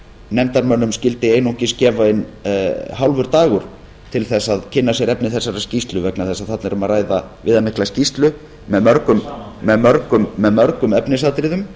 nefndarmönnum skyldi einungis gefast um hálfur dagur til að kynna sér efni þessarar skýrslu vegna þess að hún er viðamikil og með mörgum efnisatriðum